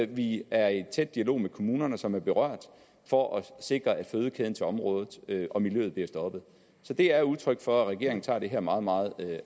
vi er i tæt dialog med de kommuner som er berørt for at sikre at fødekæden til området og miljøet bliver stoppet så det er udtryk for at regeringen tager det her meget meget